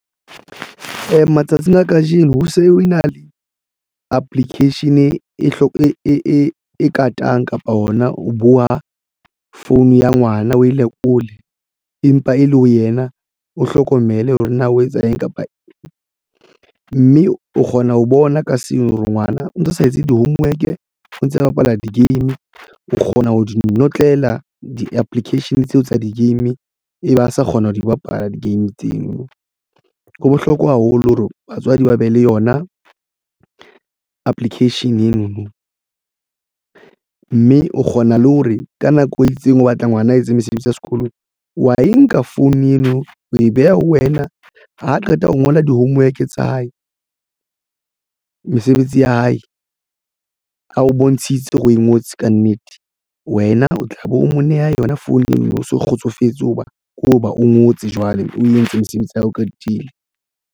Matsatsing a kajeno ho se ho na le application e katang kapa ona o buwa phone ya ngwana o e lekole empa e le ho yena o hlokomele hore na o etsa eng kapa . Mme o kgona ho bona ka seng hore ngwana o ntso o sa etse di-homework o ntse o bapala di-game o kgona ho di notlela di-application tseo tsa di-game e ba ha sa kgona ho di bapala di-game tseno. Ho bohlokwa haholo hore batswadi ba be le yona application ena mme o kgona le hore ka nako e itseng o batla ngwana a etse mesebetsi ya sekolo wa e nka phone eo o e beha ho wena ha qeta ho ngola di-homework tsa hae, mesebetsi ya hae a o bontshitse hore o e ngotse kannete wena o tlabe o mo neha yona phone eno no o so kgotsofetse hoba ke hoba o ngotse jwale o entse mosebetsi o qetile.